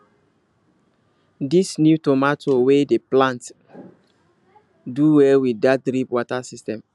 this new tomato we dey plant dey do well with that drip water system